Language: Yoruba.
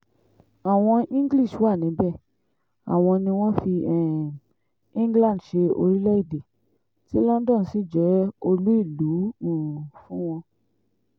àwọn english wà níbẹ̀ àwọn ni wọ́n fi um england ṣe orílẹ̀-èdè tí london sì jẹ́ olú ìlú um fún wọn